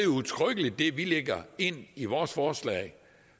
udtrykkeligt det vi lægger ind i vores forslag